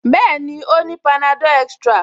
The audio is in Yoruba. Bẹ́ẹ̀ni, ó ní panadol extra